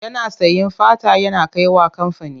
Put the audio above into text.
Yana sayen fata yana kai wa kamfani.